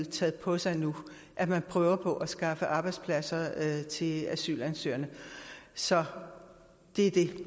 taget på sig nu at man prøver på at skaffe arbejdspladser til asylansøgerne så det er det